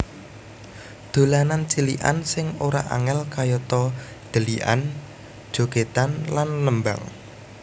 Dolanan cilikan sing ora angel kayata dhelikan jogedan lan nembang